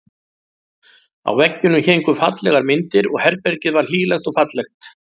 Á veggjunum héngu fallegar myndir og herbergið var hlýlegt og fallegt.